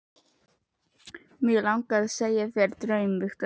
Mig langar að segja þér draum, Viktoría.